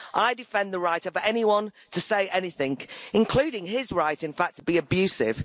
I defend the right of anyone to say anything, including his right, in fact, to be abusive.